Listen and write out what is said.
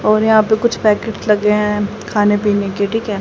और यहां पे कुछ पैकेट लगे हैं खाने पीने के ठीक है।